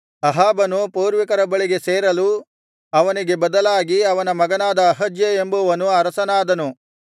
ಅಹಾಬನು ಪೂರ್ವಿಕರ ಬಳಿಗೆ ಸೇರಲು ಅವನಿಗೆ ಬದಲಾಗಿ ಅವನ ಮಗನಾದ ಅಹಜ್ಯ ಎಂಬುವನು ಅರಸನಾದನು